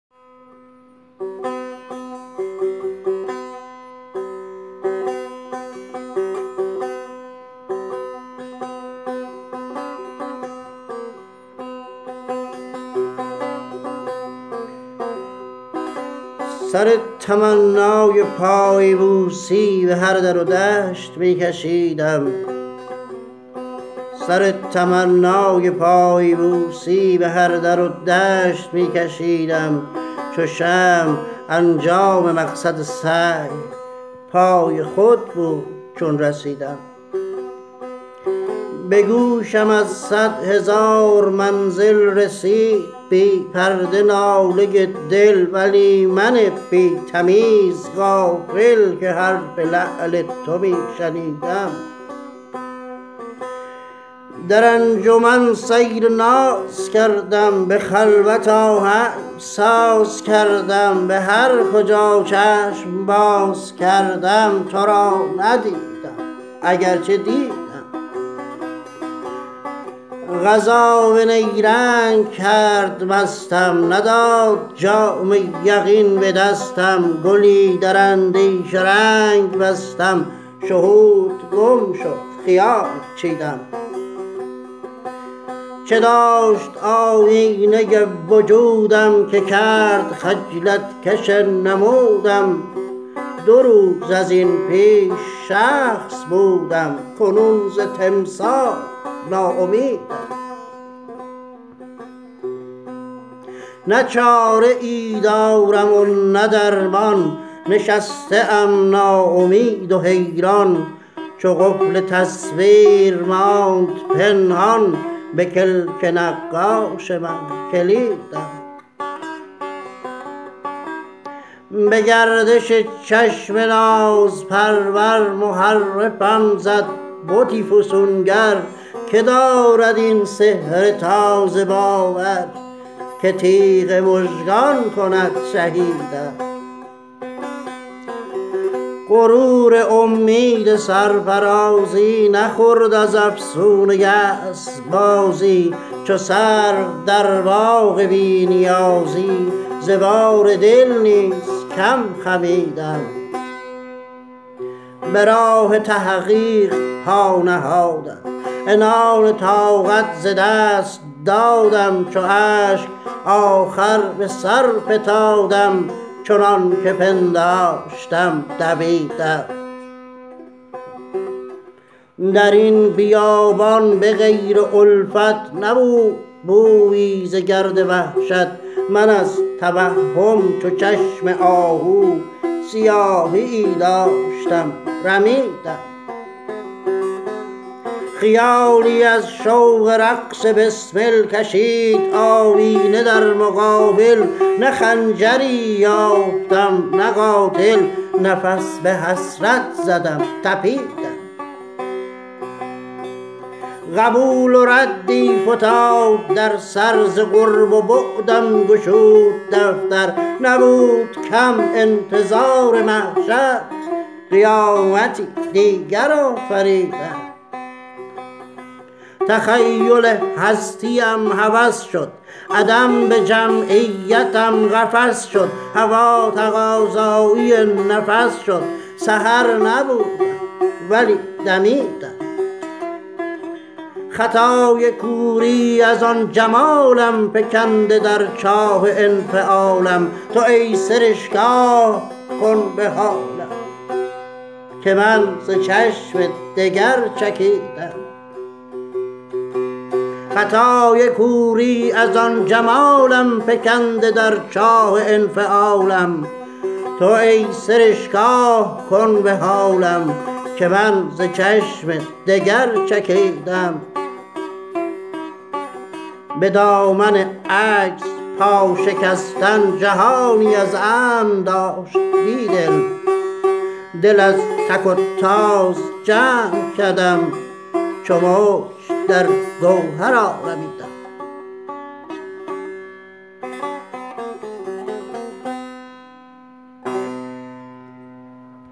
سر تمنای پایبوسی به هر در و دشت می کشیدم چو شمع انجام مقصد سعی پای خود بود چون رسیدم به گوشم از صدهزار منزل رسید بی پرده ناله دل ولی من بی تمیز غافل که حرف لعل تو می شنیدم در انجمن سیر نازکردم به خلوت آهنگ سازکردم به هرکجا چشم باز کردم ترا ندیدم اگر چه دیدم یقین به نیرنگ کرد مستم نداد جام یقین به دستم گلی در اندیشه رنگ بستم شهودگم شد خیال چیدم چه داشت آیینه وجودم که کرد خجلت کش نمودم دو روز از این پیش شخص بودم کنون ز تمثال ناامیدم نه چاره ای دارم و نه درمان نشسته ام ناامید و حیران چو قفل تصویر ماند پنهان به کلک نقاش من کلیدم به گردش چشم ناز پرور محرفم زد بت فسونگر که دارد این سحر تازه باور که تیغ مژگان کند شهیدم غرور امید سرفرازی نخورد از افسون یأس بازی چو سرو در باغ بی نیازی ز بار دل نیزکم خمیدم به راه تحقیق پا نهادم عنان طاقت ز دست دادم چو اشک آخر به سر فتادم چنانکه پنداشتم دویدم دربن بیابان به غیر الفت نبود بویی ز گرد وحشت من از توهم چو چشم آهو سیاهیی داشتم رمیدم خیالی از شوق رقص بسمل کشید آیینه در مقابل نه خنجری یافتم نه قاتل نفس به حسرت زدم تپیدم قبول دردی فتاد در سر ز قرب و بعدم گشود دفتر نبود کم انتظار محشر قیامتی دیگر آفریدم تخیل هستی ام هوس شد عدم به جمعیتم قفس شد هوا تقاضایی نفس شد سحر نبودم ولی دمیدم خطای کوری از آن جمالم فکنده در چاه انفعالم تو ای سرشک آه کن به حالم که من ز چشم دگر چکیدم به دامن عجز پا شکستن جهانی از امن داشت بیدل دل از تک و تاز جمع کردم چو موج درگوهر آرمیدم